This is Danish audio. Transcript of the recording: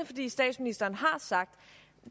fordi statsministeren har sagt at